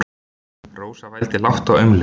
Rósa vældi lágt og aumlega.